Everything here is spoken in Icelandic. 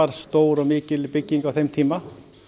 stór og mikil bygging á þeim tíma